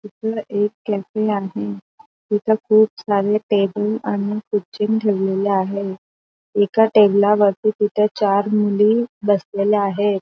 तिथं एक कॅफे आहे. तिथे खूप सारे टेबल आणि खुर्चीन ठेवलेल्या आहे. एका टेबला वरती तिथं चार मुली बसलेल्या आहेत.